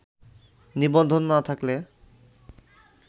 নিবন্ধন না থাকলে